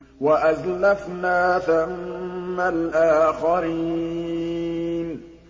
وَأَزْلَفْنَا ثَمَّ الْآخَرِينَ